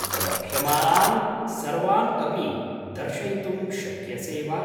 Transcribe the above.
उपलभ्यमानान् सर्वान् अपि दर्शयितुं शक्यसे वा?